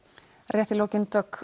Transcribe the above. rétt í lokin Dögg